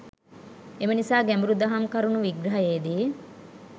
එම නිසා ගැඹුරු දහම් කරුනු විග්‍රහයේදී